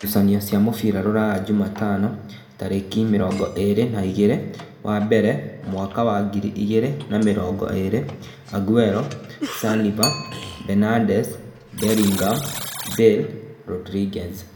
Ngucanio cia mũbira Rūraya Jumatano tarĩki mĩrongo ĩrĩ na igĩrĩ wa mbere mwaka wa ngiri igĩrĩ na mĩrongo ĩrĩ: Aguero, Saliva, Benades, Mberingam, Mbale, Rodriguez